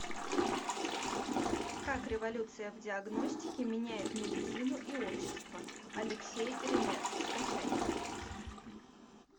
как революция в диагностике меняет медицину и общество алексей ремез скачай